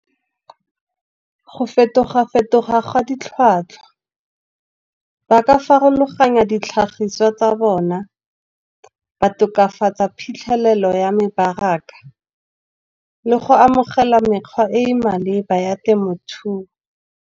Go fetoga fetoga ga ditlhwatlhwa, ba ka farologanya ditlhagiswa tsa bona, ba tokafatsa phitlhelelo ya mebaraka, le go amogela mekgwa e e maleba ya temothuo.